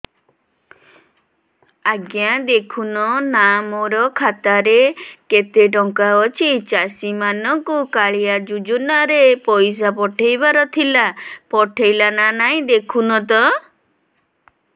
ଆଜ୍ଞା ଦେଖୁନ ନା ମୋର ଖାତାରେ କେତେ ଟଙ୍କା ଅଛି ଚାଷୀ ମାନଙ୍କୁ କାଳିଆ ଯୁଜୁନା ରେ ପଇସା ପଠେଇବାର ଥିଲା ପଠେଇଲା ନା ନାଇଁ ଦେଖୁନ ତ